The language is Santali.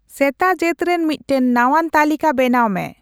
ᱥᱮᱛᱟ ᱡᱟᱹᱛ ᱨᱮᱱᱢᱤᱫᱴᱟᱝ ᱱᱟᱶᱟᱱ ᱛᱟᱹᱞᱤᱠᱟ ᱵᱮᱱᱟᱶ ᱢᱮ